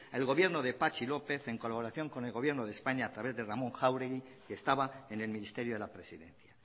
el gobierno de patxi lópez en colaboración con el gobierno de españa a través de ramón jáuregui que estaba en el ministerio de la presidencia